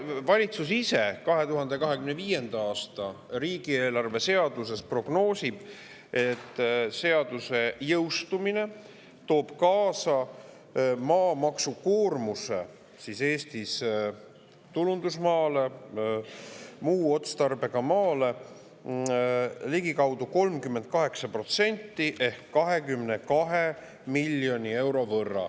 Valitsus ise prognoosib 2025. aasta riigieelarve seaduse, et seaduse jõustumine toob Eestis kaasa maatulundusmaa ja muu otstarbega maa maamaksu koormuse ligikaudu 38% ehk 22 miljoni euro võrra.